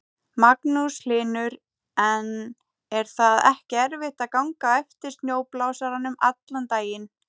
Magnús Hlynur: En er það ekki erfitt að ganga á eftir snjóblásaranum allan daginn?